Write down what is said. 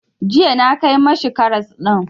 Jiya na kai ma shi karas ɗin.